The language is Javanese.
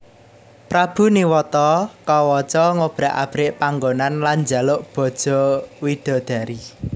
Prabu Niwata Kawaca ngobrak abrik panggonan lan njaluk bojo widodari